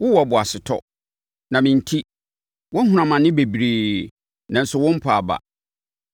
Wowɔ boasetɔ, na me enti, woahunu amane bebree, nanso wompaa aba.